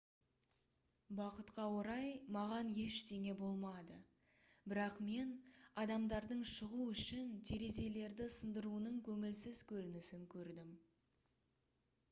бақытқа орай маған ештеңе болмады бірақ мен адамдардың шығу үшін терезелерді сындыруының көңілсіз көрінісін көрдім